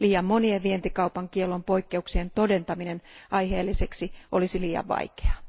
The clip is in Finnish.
Liian monien vientikaupan kiellon poikkeuksien todentaminen aiheelliseksi olisi liian vaikeaa.